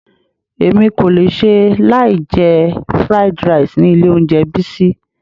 Èmi kò lè ṣe láì jẹ fried rice ni ilé oúnjẹ Bisi.